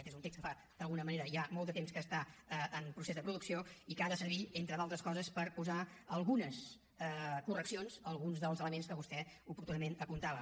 aquest és un text que fa d’alguna manera ja molt de temps que està en procés de producció i que ha de servir entre d’altres coses per posar algunes correccions a alguns dels elements que vostè oportunament apuntava